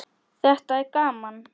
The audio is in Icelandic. Þetta er gaman.